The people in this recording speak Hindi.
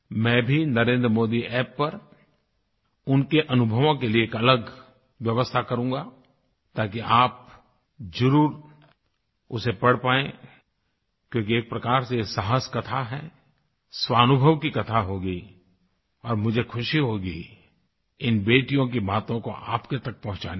मैं भी नरेंद्रमोदी App पर उनके अनुभवों के लिए एक अलग व्यवस्था करूँगा ताकि आप ज़रूर उसे पढ़ पाएं क्योंकि ये एक प्रकार से ये साहस कथा है स्वानुभव की कथा होगी और मुझे खुशी होगी इन बेटियों की बातों को आप तक पहुंचाने में